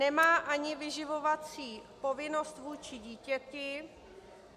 Nemá ani vyživovací povinnost vůči dítěti.